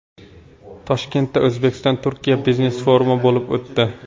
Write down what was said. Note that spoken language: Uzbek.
Toshkentda O‘zbekistonTurkiya biznes-forumi bo‘lib o‘tdi.